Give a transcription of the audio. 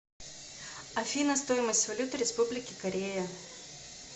афина стоимость валюта республики корея